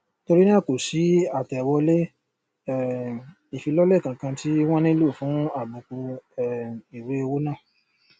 torí náà kò sí àtẹwọlé um ìfilọlẹ kànkan tí wón nílò fún àbùkù um ìwé owó náà